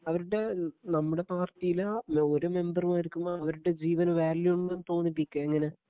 അവരുടെ നമ്മുടെ പാർട്ടിയിലാ ഒരു മെമ്പർമാർക്കും അവരുടെ ജീവന് വാല്യൂ ഉണ്ടെന്ന് തോന്നിപ്പിക്കുക എങ്ങനെ